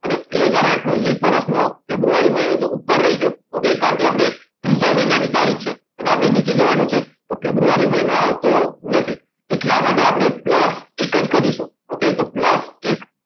અને બે હાજર આઠ નું લિપ વર્ષનો ફેબ્રુઆરી મહિનો તો ઉપર રહી ગયો કારણકે ત્રીજા મહિનાની તારીખ છે અને આપણે નીચે જવાનું છે okay ફેબ્રુઆરી મહિનો આવતો નથી એટલા માટે આપણે plus એક જ કરીશું plus એક